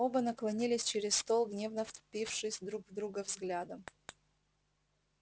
оба наклонились через стол гневно впившись друг в друга взглядом